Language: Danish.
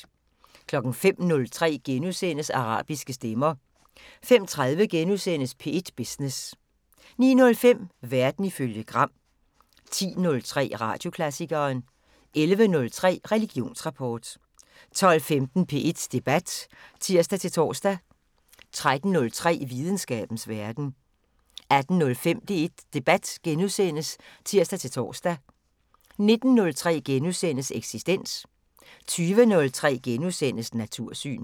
05:03: Arabiske stemmer * 05:30: P1 Business * 09:05: Verden ifølge Gram 10:03: Radioklassikeren 11:03: Religionsrapport 12:15: P1 Debat (tir-tor) 13:03: Videnskabens Verden 18:05: P1 Debat *(tir-tor) 19:03: Eksistens * 20:03: Natursyn *